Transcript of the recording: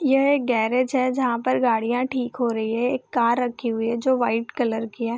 यह एक गैरेज है जहां पर गाड़ियां ठीक हो रही है एक कार रखी हुई है जो व्हाइट कलर की है।